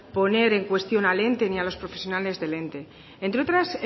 poner en cuestión al ente ni a los profesionales del ente entre otras